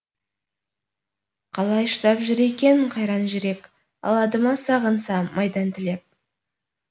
қалай шыдап жүр екен қайран жүрек алады ма сағынса майдан тілеп